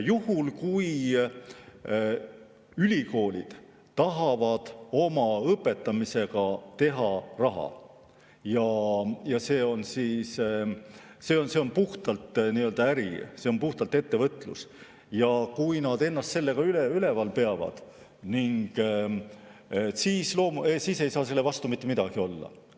Juhul kui ülikoolid tahavad oma õpetamisega raha teha ja see on puhtalt äri, see on puhtalt ettevõtlus, ja kui nad ennast sellega üleval peavad, siis ei saa selle vastu mitte midagi olla.